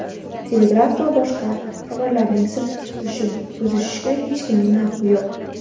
telegraf va boshqa xabarlarning sir tutilishini buzishga hech kimning haqqi yo‘q.